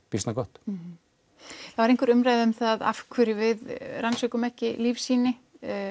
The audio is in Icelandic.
býsna gott það var einhver umræða um af hverju við rannsökum ekki lífsýni